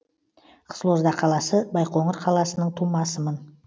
қызылорда қаласы байқоңыр қаласының тумасымын